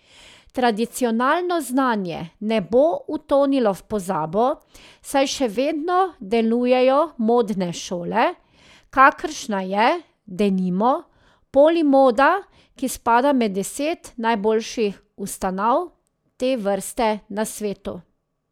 Tradicionalno znanje ne bo utonilo v pozabo, saj še vedno delujejo modne šole, kakršna je, denimo, Polimoda, ki spada med deset najboljših ustanov te vrste na svetu.